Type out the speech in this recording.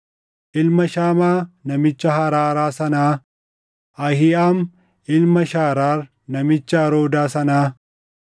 ilma Shamaa namicha Haraaraa sanaa, Ahiiʼaam ilma Shaaraar namicha Aroodaa sanaa,